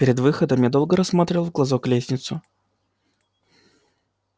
перед выходом я долго рассматривал в глазок лестницу